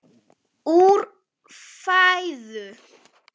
úr fæðu